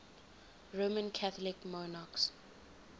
roman catholic monarchs